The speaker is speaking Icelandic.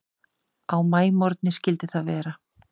Á maímorgni skyldi það vera.